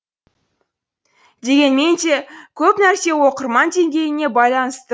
дегенменде көп нәрсе оқырман деңгейіне байланысты